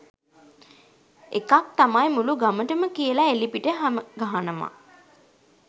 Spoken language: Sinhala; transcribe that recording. එකක් තමයි මුලු ගමටම කියලා එළිපිට හැමගහනවා